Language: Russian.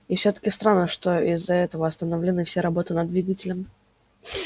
и всё-таки странно что из-за этого остановлены все работы над двигателем